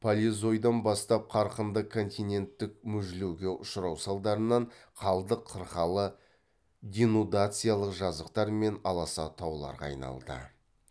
палеозойдан бастап қарқынды континенттік мүжілуге ұшырау салдарынан қалдық қырқалы денудациялық жазықтар мен аласа тауларға айналды